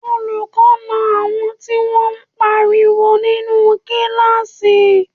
Olùkọ́ na àwọn tí wọ́n pariwo nínú kíláàsì